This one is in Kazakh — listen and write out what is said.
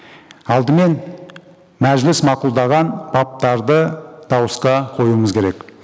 алдымен мәжіліс мақұлдаған баптарды дауысқа қоюымыз керек